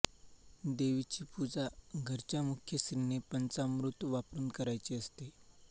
देवीची पूजा घरच्या मुख्य स्त्रीने पंचामृत वापरून करायची असते